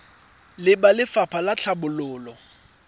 le ba lefapha la tlhabololo